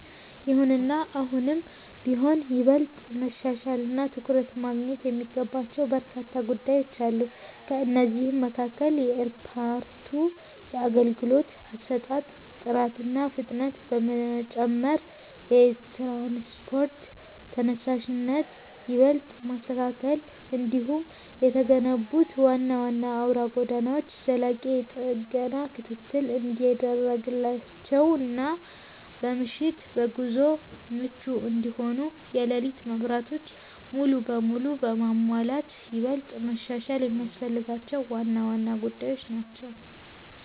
ይሁንና አሁንም ቢሆን ይበልጥ መሻሻልና ትኩረት ማግኘት የሚገባቸው በርካታ ጉዳዮች አሉ። ከእነዚህም መካከል የኤርፖርቱ የአገልግሎት አሰጣጥ ጥራትና ፍጥነት መጨመር፣ የትራንስፖርት ተደራሽነትን ይበልጥ ማስተካከል፣ እንዲሁም የተገነቡት ዋና ዋና አውራ ጎዳናዎች ዘላቂ የጥገና ክትትል እንዲደረግላቸውና በምሽት ለጉዞ ምቹ እንዲሆኑ የሌሊት መብራቶች ሙሉ በሙሉ መሟላት ይበልጥ መሻሻል የሚያስፈልጋቸው ዋና ዋና ጉዳዮች ናቸው።